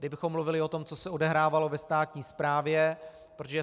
Kdybychom mluvili o tom, co se odehrávalo ve státní správě, protože